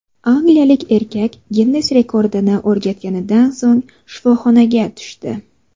Angliyalik erkak Ginnes rekordini o‘rnatganidan so‘ng shifoxonaga tushdi.